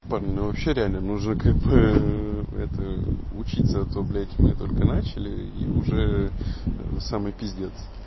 парни ну вообще реально нужно как бы это учиться а то блядь мы только начали и уже самый пиздец